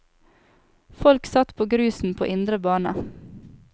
Folk satt på grusen på indre bane.